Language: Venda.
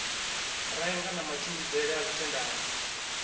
renga na matshimbidzele a dzithendara